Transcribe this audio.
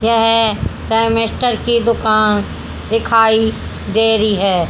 यह केमिस्टर की दुकान दिखाई दे रही है।